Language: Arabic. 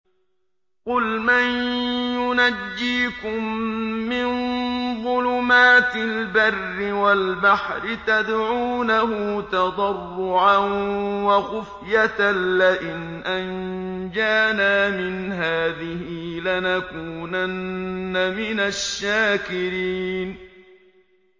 قُلْ مَن يُنَجِّيكُم مِّن ظُلُمَاتِ الْبَرِّ وَالْبَحْرِ تَدْعُونَهُ تَضَرُّعًا وَخُفْيَةً لَّئِنْ أَنجَانَا مِنْ هَٰذِهِ لَنَكُونَنَّ مِنَ الشَّاكِرِينَ